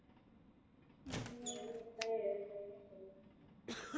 ஹம் ஏது உண்மை எது பொய்னே தெரியல